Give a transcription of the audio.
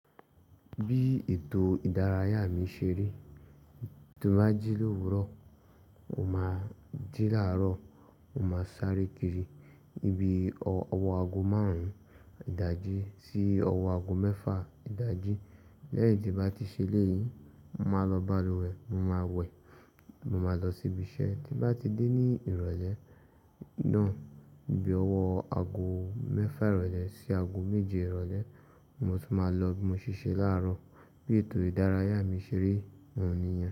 Bí ètò ìdárayá mi ṣe rí, tí mo bá jí l'òwúrọ̀, mo máa jí láàrọ̀, mo máa sáré kiri níbi ọwọ́ ago márùn-ún ìdájí sí ọwọ́ ago mẹ́fà ìdájí. Lẹ́yìn tí mo bá ti ṣe léyín, mo máa lọ balùwẹ̀, mo máa wẹ̀, mo máa lọ síbi iṣẹ́. Tí mo bá ti dé ní ìrọ̀lẹ́ náà, bí owó ago mẹ́fà ìrọ̀lẹ́ sí ago méje ìrọ̀lẹ́, mo sì máa lọ bí mo ṣe ṣe láàrọ̀. Bí ètò ìdárayá mi ṣe rí wọ̀nyí.